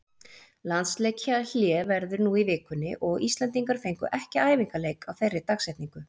Landsleikjahlé verður nú í vikunni og Íslendingar fengu ekki æfingaleik á þeirri dagsetningu.